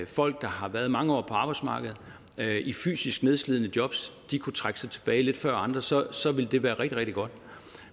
folk der har været mange år på arbejdsmarkedet i fysisk nedslidende jobs kunne trække sig tilbage lidt før andre så så ville det være rigtig rigtig godt